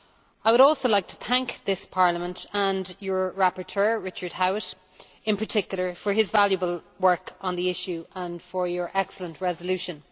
I would also like to thank this Parliament, and your rapporteur, Richard Howitt in particular, for his valuable work on the issue and for your excellent resolution.